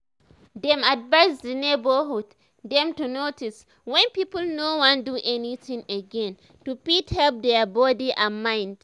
dem advise the neighborhood dem to notice wen people no wan do anything again to fit help dia body and mind